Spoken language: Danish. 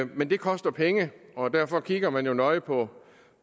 men det koster penge og derfor kigger man jo nøje på